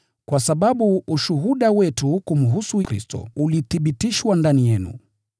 kwa sababu ushuhuda wetu kumhusu Kristo ulithibitishwa ndani yenu.